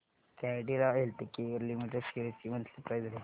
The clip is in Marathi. कॅडीला हेल्थकेयर लिमिटेड शेअर्स ची मंथली प्राइस रेंज